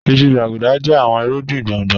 Ìṣù, gbàgúdà jẹ̀ àwọn ìrúgbìn gbọ̀ngbò